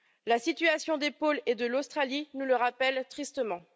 La situation des pôles et de l'Australie nous le rappelle tristement.